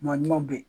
Maa ɲumanw bɛ yen